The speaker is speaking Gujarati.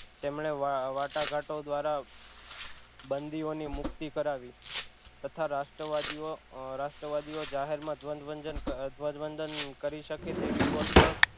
તેમણે વાટાઘાટો દ્વારા બંધીઓની મુક્તિ કરાવી તથા રાષ્ટ્રવાદીઑ રાષ્ટ્રવાદીઓ જાહેર માં ધ્વજવંદન ધ્વજવંદન કરી શકે તેવી ગોઠવણ